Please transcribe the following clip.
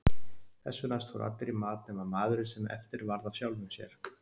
Þessu næst fóru allir í mat nema maðurinn sem eftir varð af sjálfum sér.